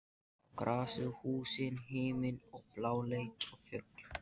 Á grasið, húsin, himininn og bláleit fjöll.